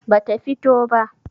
ba ta fito ba